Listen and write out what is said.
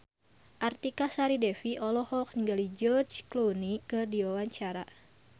Artika Sari Devi olohok ningali George Clooney keur diwawancara